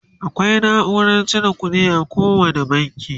akwai naurar cire ƙuɗi a kowani banki